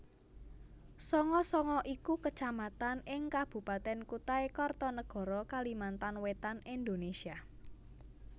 Sanga Sanga iku Kecamatan ing Kabupatèn Kutai Kartanegara Kalimantan Wétan Indonesia